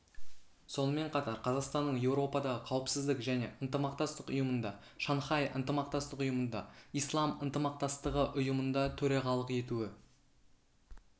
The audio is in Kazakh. сонымен қатар қазақстанның еуропадағы қауіпсіздік және ынтымақтастық ұйымында шанхай ынтымақтастық ұйымында ислам ынтымақтастығы ұйымында төрағалық етуі